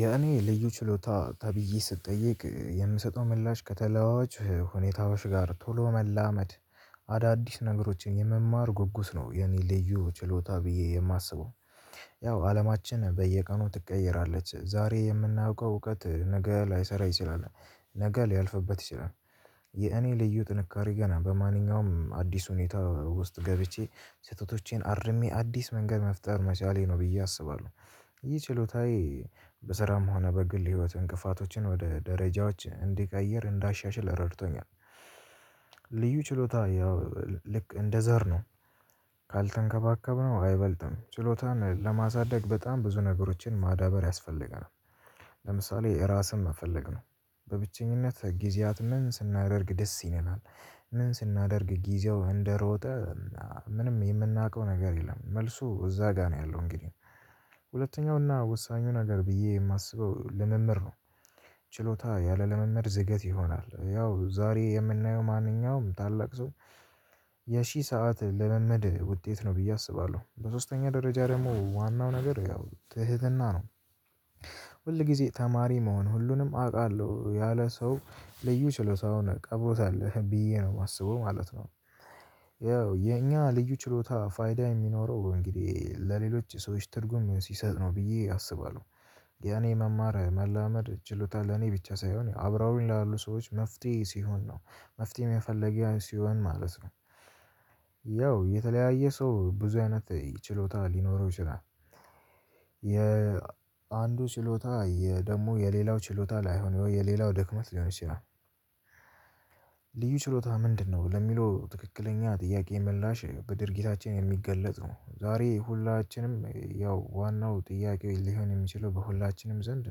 የኔ ልዩ ችሎታ ተብዬ ስትጠይቅ የምሰጠው ምላሽ ከተለዋዋጭ ሁኔታዎች ጋር ቶሎ መላመድ አዳዲስ ነገሮችን የመማር ጉጉት ነው የኔ ልዩ ችሎታ ብዬ የማስበው። ያው አለማችን በየቀኑ ትቀየራለች ዛሬ የምናውቀው እውቀት ነገ ላይሰራ ይችላል። ነገ ሊያልፍበት ይችላል። የኔ ልዩ ጥንካሬ ገና በማንኛውም አዲስ ሁኔታ ውስጥ ገብቼ ስህተቶቼን አርሜ አዲስ መንገድ መፍጠር መቻሌ ነው ብዬ አስባለሁ። ይህ ችሎታዬ በስራም ሆነ በግል ህይወት እንቅፋቶችን ወደ ደረጃዎች እንዲቀይር እንዳሻሽል ረድቶኛል። ችሎታ ያው ልክ እንደ ዘር ነው። ካልተንከባከብነው አይበልጥም ችሎታን ለማሳደግ በጣም ብዙ ነገሮችን ማዳበር ያስፈልገናል። ለምሳሌ ራስን መፈለግ ነው። በብቸኝነት ጊዜያት ምን ስናደርግ ደስ ይለናል? ምን ስናደርግ ጊዜው እንደሮጠ? ምንም የምናውቀው ነገር የለም መልሱ እዛ ጋር ነው ያለው እንግዲህ። ሁለተኛውና ወሳኙ ነገር ብዬ የማስበው ልምምር ነው። ችሎታ ያለልምምድ ዝገት ይሆናል። ያው ዛሬ የምናየው ማንኛውም ታላቅ ሰው የሺህ ሰዓት ለመመድ ውጤት ነው ብዬ አስባለሁ። በሶስተኛ ደረጃ ደግሞ ዋናው ነገር ያው ትህትና ነው። ሁል ጊዜ ተማሪ መሆን ሁሉንም አውቃለሁ ያለ ሰው ልዩ ችሎታ ሆነህ ቀብሮታልህ ብዬ ነው የማስበው ማለት ነው። ያው የኛ ልዩ ችሎታ ፋይዳ የሚኖረው እንግዲህ ለሌሎች ሰዎች ትርጉም ሲሰጥ ነው ብዬ አስባለሁ። ያኔ መማር መላመድ ችሎታ ለኔ ብቻ ሳይሆን አብረውኝ ያሉ ሰዎች መፍትሄ ሲሆን ነው። መፍትሄ መፈለገጊያ ሲሆን ማለት ነው። ያው የተለያየ ሰው ብዙ አይነት ችሎታ ሊኖረው ይችላል። የአንዱ ችሎታ የደግሞ የሌላው ችሎታ ላይሆን የሌላው ድክመት ሊሆን ይችላል። ልዩ ችሎታ ምንድነው ለሚለው ትክክለኛ ጥያቄ ምላሽ በድርጊታችን የሚገለጽ ነው። ዛሬ ሁላችንም ያው ዋናው ጥያቄው ሊሆን የሚችለው በሁላችንም ዘንድ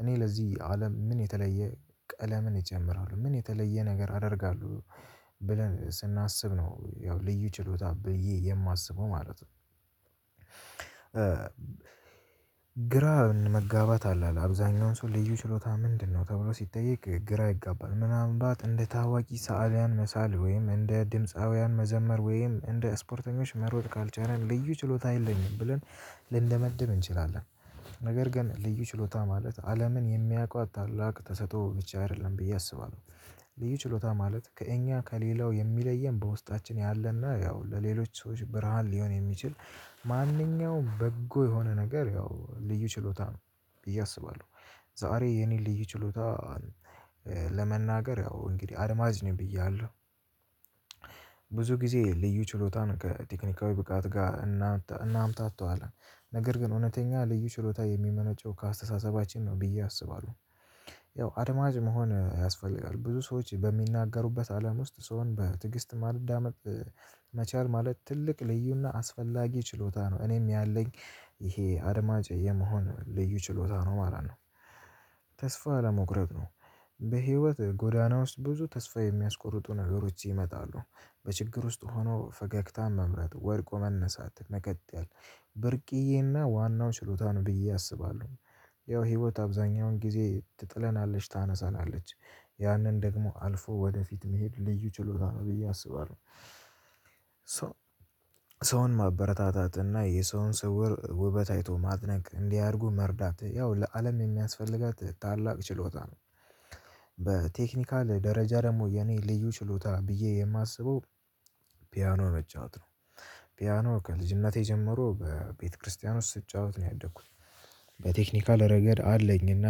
እኔ ለዚህ አለም ምን የተለየ ቀለምን እጨምራለሁ ምን የተለየ ነገር አደርጋለሁ? ብለን ስናስብ ነው ያው ልዩ ችሎታ ብዬ የማስበው ማለት ነው። ግራን መጋባት አለ አብዛኛውን ሰው ልዩ ችሎታ ምንድነው ተብሎ ሲጠየቅ ግራ ይጋባል። ምናምን ባት እንደ ታዋቂ ሰአሊያን መሳል ወይም እንደ ድምፃውያን መዘመር ወይም እንደ ስፖርተኞች መሮጥ ካልቻልን ልዩ ችሎታ የለኝም ብለን ልንደመድብ እንችላለን። ነገር ግን ልዩ ችሎታ ማለት አለምን የሚያውቀው ታላቅ ተሰጥቶ ብቻ አይደለም ብዬ አስባለሁ። ልዩ ችሎታ ማለት ከእኛ ከሌላው የሚለየን በውስጣችን ያለና ያው ለሌሎች ሰዎች ብርሃን ሊሆን የሚችል። ማንኛውም በጎ የሆነ ነገር ያው ልዩ ችሎታ ነው። እያሰባለሁ ዛሬ የኔ ልዩ ችሎታ። ለመናገር ያው እንግዲህ አድማጭ ነኝ ብያለሁ። ብዙ ጊዜ ልዩ ችሎታን ከቴክኒካዊ ብቃት ጋር እናምታተዋለን። ነገር ግን እውነተኛ ልዩ ችሎታ የሚመነጨው ከአስተሳሰባችን ነው ብዬ አስባለሁ። ያው አድማጭ መሆን ያስፈልጋል ብዙ ሰዎች በሚናገሩበት አለም ውስጥ ስሆን በትዕግስት ማለዳመጥ መቻል ማለት ትልቅ ልዩና አስፈላጊ ችሎታ ነው። እኔም ያለኝ። ይሄ አድማጭ የመሆን ልዩ ችሎታ ነው ማለት ነው። ተስፋ ለመቁረጥ ነው። በህይወት ጎዳና ውስጥ ብዙ ተስፋ የሚያስቆርጡ ነገሮች ይመጣሉ። በችግር ውስጥ ሆኖ ፈገግታም መምረጥ ወርቆ መነሳት መከተል ብርቅዬና ዋናው ችሎታ ነው ብዬ አስባለሁ። ያው ህይወት አብዛኛውን ጊዜ ትጥለናለች ታነሳላች። ያንን ደግሞ አልፎ ወደፊት መሄድ ልዩ ችሎታ ብዬ አስባለሁ። ሰውን ማበረታታት እና የሰውን ስውር ውበት አይቶ ማድነቅ እንዲያደርጉ መርዳት ያው ለአለም የሚያስፈልጋት ታላቅ ችሎታ ነው። በቴክኒካል ደረጃ ደግሞ የኔ ልዩ ችሎታ ብዬ የማስበው። ፒያኖ መጫወት ነው። ፒያኖ ከልጅነቴ ጀምሮ በቤተክርስቲያን ውስጥ ስጫወት ነው ያደግኩት። በቴክኒካል ረገድ አለኝና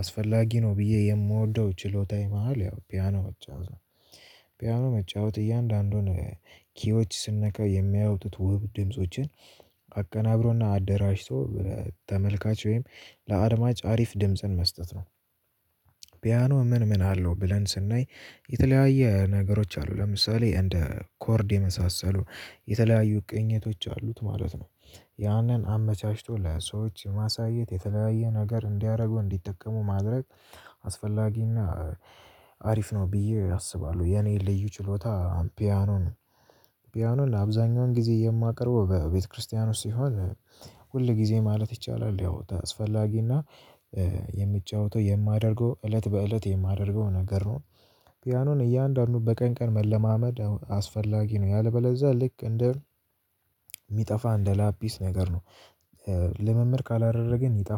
አስፈላጊ ነው ብዬ የምወደው ችሎታዬ መሃል ያው ፒያኖ መጫወት ነው። ፒያኖ መጫወት እያንዳንዱን ኪዎች ስንነካ የሚያወጡት ውብ ድምፆችን አቀናብሮና አደራጅቶ ተመልካች ወይም ለአድማጭ አሪፍ ድምጽን መስጠት ነው። ፒያኖ ምን ምን አለው? ብለን ስናይ የተለያየ ነገሮች አሉ ለምሳሌ እንደ ኮርድ የመሳሰሉ የተለያዩ ቅኝቶች አሉት ማለት ነው። ያንን አመቻችቶ ለሰዎች ማሳየት የተለያየ ነገር እንዲያደርገው እንዲጠቀሙ ማድረግ አስፈላጊና አሪፍ ነው። ብዬ አስባለሁ። የኔ ልዩ ችሎታ ፒያኖን። ፒያኖን አብዛኛውን ጊዜ የማቀርበው በቤተክርስቲያኖስ ሲሆን። ጊዜ ማለት ይቻላል ያው አስፈላጊና የሚጫወተው የማደርገው እለት በእለት የማደርገው ነገር ነው። ፒያኖን እያንዳንዱ በቀን ቀን መለማመድ አስፈላጊ ነው። ያለበለዛ ልክ እንደ የሚጠፋ እንደ ላፒስ ነገር ነው። ለመምር ካላደረገን ይጣፋል